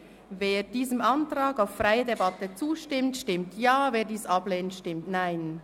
Wer diesem Antrag auf freie Debatte zustimmt, stimmt Ja, wer dies ablehnt, stimmt Nein.